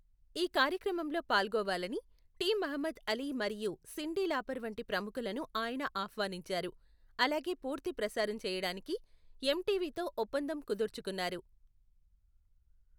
ఈ కార్యక్రమంలో పాల్గోవాలని టి మహ్మద్ అలీ మరియు సిండి లాపర్ వంటి ప్రముఖులను ఆయన ఆహ్వానించారు, అలాగే పూర్తి ప్రసారం చేయడానికి ఎంటీవీతో ఒప్పందం కుదుర్చుకున్నారు.